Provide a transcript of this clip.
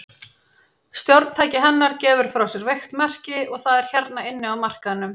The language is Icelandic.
Stjórntæki hennar gefur frá sér veikt merki, og það er hérna inni á markaðnum.